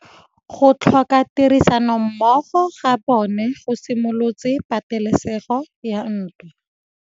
Go tlhoka tirsanommogo ga bone go simolotse patêlêsêgô ya ntwa.